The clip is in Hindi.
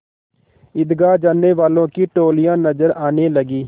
ईदगाह जाने वालों की टोलियाँ नजर आने लगीं